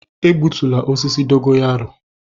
Egbutula osisi dogo yaro.